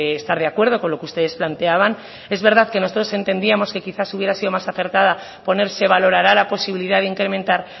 estar de acuerdo con lo que ustedes planteaban es verdad que nosotros entendíamos que quizás hubiera sido más acertada poner se valorará la posibilidad de incrementar